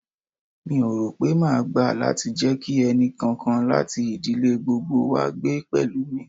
Mi ò rò pé máa gbà láti jẹ kí ẹnì kankan láti ìdílé gbogbo wá gbé pẹ̀lú mi.